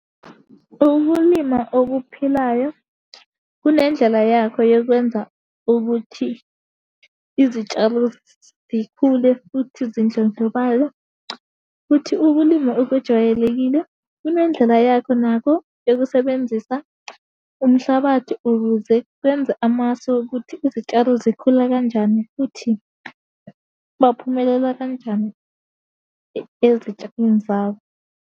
Ukulima okuphilayo, kunendlela yakho yokwenza ukuthi izitshalo zikhule futhi zindlondlobale, futhi ukulima okujwayelekile kunendlela yakho nakho yokusebenzisa umhlabathi ukuze kwenze amasu okuthi izitshalo zikhule kanjani, futhi baphumelela kanjani ezitshalweni zabo.